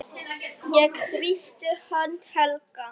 Ég þrýsti hönd Helga.